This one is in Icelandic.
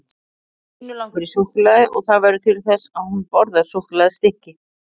Stínu langar í súkkulaði og það verður til þess að hún borðar súkkulaðistykki.